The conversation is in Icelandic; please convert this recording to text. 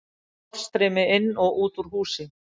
Loftstreymi inn og út úr húsi.